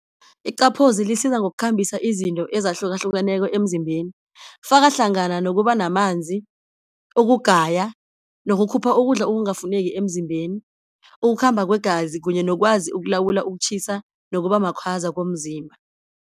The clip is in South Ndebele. Icaphozi lisiza ngokukhambisa izinto ezahlukahlukaneko emzimbeni, faka hlangana nokuba namanzi, ukugaya nokukhupha ukudla okungafuneki emzimbeni, ukukhamba kwegazi kunye nokwazi ukulawula ukutjhisa nokubamakhaza komzimba.